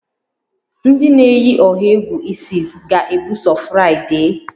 Ndị na-eyi ọha egwu Isis ga-ebuso Fraịde?